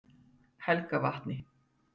Helgavatni